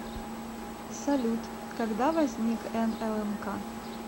салют когда возник нлмк